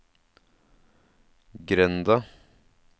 grenda